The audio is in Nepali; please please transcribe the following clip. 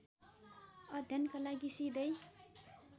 अध्ययनका लागि सिधै